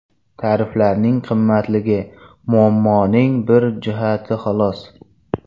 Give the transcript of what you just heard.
Tariflarning qimmatligi muammoning bir jihati, xolos.